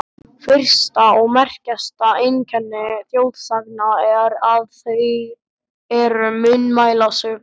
Fyrsta og merkasta einkenni þjóðsagna er, að þær eru munnmælasögur.